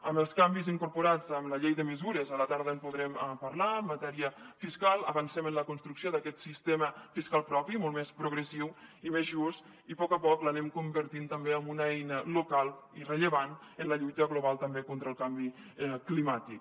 amb els canvis incorporats amb la llei de mesures a la tarda en podrem parlar en matèria fiscal avancem en la construcció d’aquest sistema fiscal propi molt més progressiu i més just i a poc a poc l’anem convertint també en una eina local i rellevant en la lluita global també contra el canvi climàtic